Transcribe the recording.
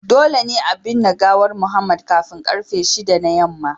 Dole ne a binne gawar Mohammed kafin karfe 6 na yamma